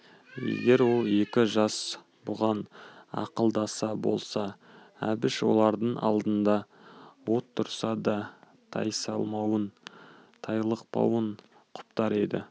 егер ол екі жас бұған ақылдасар болса әбіш олардың алдында от тұрса да тайсалмауын тайлықпауын құптар еді